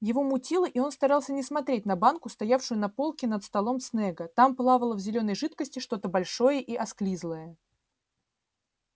его мутило и он старался не смотреть на банку стоявшую на полке над столом снегга там плавало в зелёной жидкости что-то большое и осклизлое